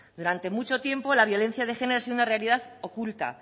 durante mucho tiempo la violencia de género ha sido una realidad oculta